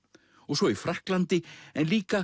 svo í Frakklandi en líka